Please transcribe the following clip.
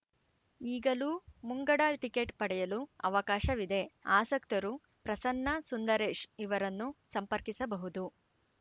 ಈಗಲೂ ಮುಂಗಡ ಟಿಕೆಟ್‌ ಪಡೆಯಲು ಅವಕಾಶವಿದೆ ಆಸಕ್ತರು ಪ್ರಸನ್ನ ಸುಂದರೇಶ್‌ ಇವರನ್ನು ಸಂಪರ್ಕಿಸಬಹುದು